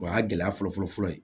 O y'a gɛlɛya fɔlɔ fɔlɔ fɔlɔ ye